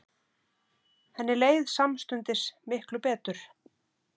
Henni leið samstundis miklu betur.